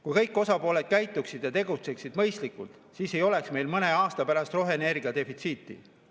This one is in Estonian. Kui kõik osapooled käituksid ja tegutseksid mõistlikult, siis ei oleks meil mõne aasta pärast roheenergia defitsiiti.